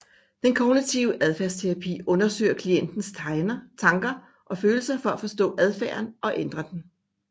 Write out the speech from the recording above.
Den kognitive adfærdsterapi undersøger klientens tanker og følelser for at forstå adfærden og ændre den